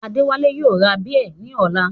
Adéwálé yóò ra bíẹ̀ ní ọ̀la